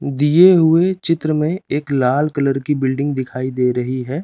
दिए हुए चित्र में एक लाल कलर की बिल्डिंग दिखाई दे रही है।